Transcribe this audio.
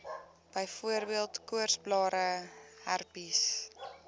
byvoorbeeld koorsblare herpes